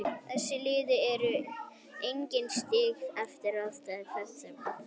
Þessi lið eru einnig stigalaus eftir fyrstu umferð Lengjubikarsins.